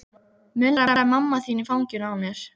muldraði mamma þín í fanginu á mér.